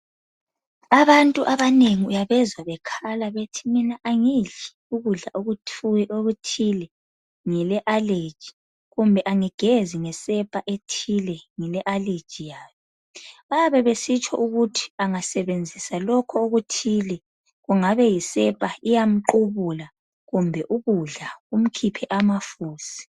Abantu abanengi uyabezwa bekhala bethi mina angidli ukudla okuthile ngile allergy kumbe angigezi ngesepa ethile ngile allergy yayo bayabe besitsho ukuthi banga sebenzisa lokho okuthile kungabe yisepa iyamqubula kumbe ukudla kumkhiphe amafusi.